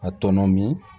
A tɔnɔmi